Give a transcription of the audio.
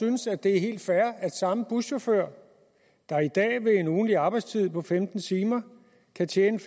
synes at det er helt fair at samme buschauffør der i dag med en ugentlig arbejdstid på femten timer kan tjene